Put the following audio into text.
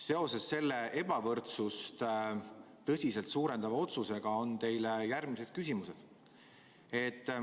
Seoses selle ebavõrdsust tõsiselt suurendava otsusega on mul teile järgmised küsimused.